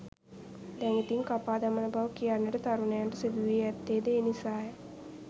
දැන් ඉතින් කපා දමන බව කියන්නට තරුණයන්ට සිදු වී ඇත්තේ ද ඒ නිසාය.